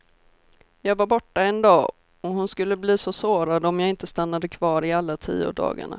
Jag var borta en dag, och hon skulle bli så sårad om jag inte stannade kvar i alla tio dagarna.